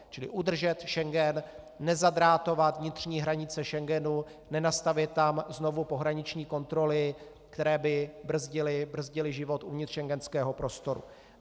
Čili udržet Schengen, nezadrátovat vnitřní hranice Schengenu, nenastavět tam znovu pohraniční kontroly, které by brzdily život uvnitř schengenského prostoru.